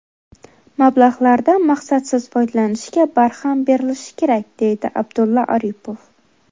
Mablag‘lardan maqsadsiz foydalanishga barham berilishi kerak”, deydi Abdulla Aripov.